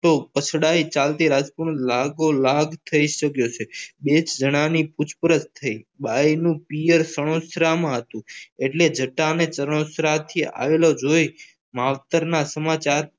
તો પછતાઈ ચાલતી લાગુ લાગ થઈ શક્યો છે બે જણાની પૂછપરછ થઈ ભાઈનું પિયર સરોસણામાં હતું એટલે જતાને સરોજના થી આવતો જોઈને માવતરના સમાચાર